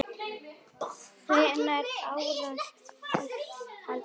Hvenær ársins er kaldast þarna?